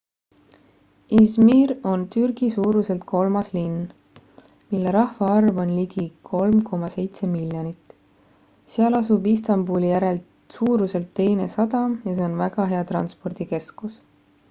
izmir on türgi suuruselt kolmas linn mille rahvaarv on ligi 3,7 miljonit seal asub istanbuli järel suuruselt teine sadam ja see on väga hea transpordikeskus